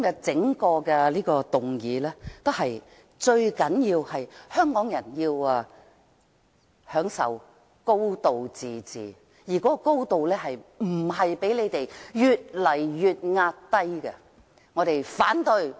這項議案的重點是，香港人要享受"高度自治"，而那"高度"不能夠不斷被壓低。